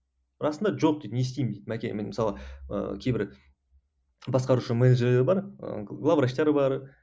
расында жоқ дейді не істеймін дейді мәке мен мысалы ыыы кейбір басқарушы менеджерлер бар ыыы главврачтар бар